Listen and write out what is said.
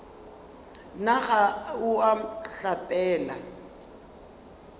na ga o a hlapela